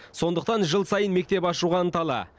сондықтан жыл сайын мектеп ашуға ынталы